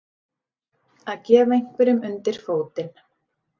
Að gefa einhverjum undir fótinn